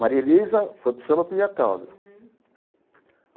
Maria Elisa foi para o samba por minha causa.